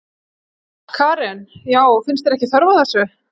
Karen: Já, finnst þér ekki þörf á þessu?